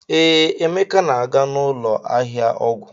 Ee, Emeka na-aga n'ụlọ ahịa ọgwụ.